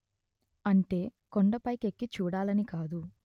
అంటే కొండ పైకెక్కి చూడాలని కాదు